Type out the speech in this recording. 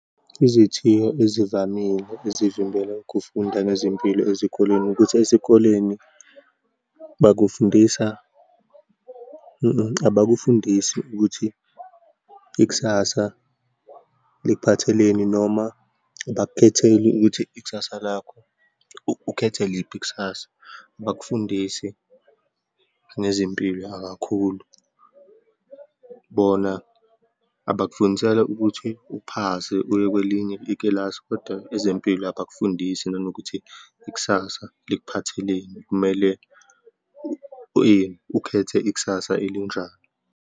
Izithiyo ezivamile ezivimbela ukufunda ngezimpilo ezikoleni, ukuthi esikoleni bakufundisa, abakufundise ukuthi ikusasa likuphatheleni, noma abakukhetheli ukuthi ikusasa lakho, ukhethe liphi ikusasa. Abakufundisi ngezimpilo kakhulu, bona abakufundisela ukuthi uphase, uya kwelinye ikilasi, kodwa ezempilo abakufundisi nanokuthi ikusasa likuphatheleni, kumele ukhethe ikusasa elinjani.